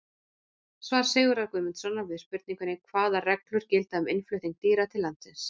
Svar Sigurðar Guðmundssonar við spurningunni Hvaða reglur gilda um innflutning dýra til landsins?